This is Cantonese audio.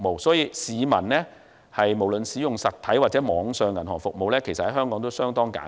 所以，香港市民無論使用實體或網上銀行服務，都相當簡便。